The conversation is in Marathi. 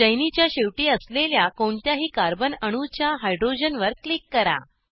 चैनीच्या शेवटी असलेल्या कोणत्याही कार्बन अणूच्या हायड्रोजन वर क्लिक करा